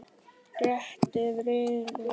Réttað yrði yfir honum síðar.